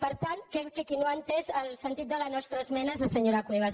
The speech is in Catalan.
per tant qui no ha entès el sentit de la nostra esmena és la senyora cuevas